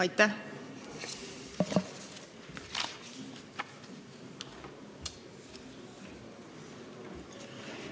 Aitäh!